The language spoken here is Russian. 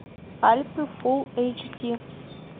альпы фулл эйч ди